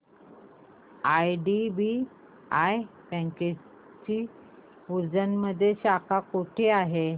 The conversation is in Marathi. आयडीबीआय बँकेची उज्जैन मध्ये शाखा कुठे आहे